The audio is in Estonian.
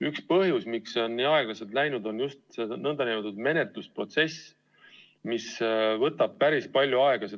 Üks põhjus, miks on nii aeglaselt läinud, on see, et menetlusprotsess võtab päris palju aega.